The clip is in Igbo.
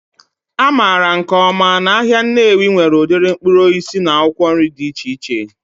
A maara nke ọma na ahịa Nnewi nwere ụdị mkpụrụ osisi na akwụkwọ nri dị iche iche